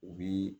U bi